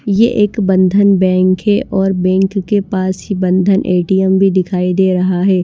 यह एक बंधन बैंक है और बैंक के पास ही बंधन एटीएम भी दिखाई दे रहा है।